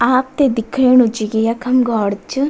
आपते दिख्येणू च की यखम घौर च।